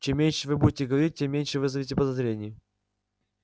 чем меньше вы будете говорить тем меньше вызовете подозрений